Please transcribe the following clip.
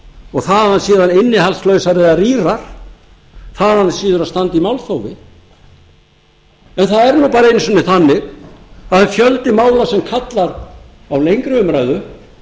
og þaðan af síður innihaldslausar eða rýrar þaðan af síður að standa í málþófi en það er nú bara einu sinni þannig að það er fjöldi mála sem kallar á lengri umræðu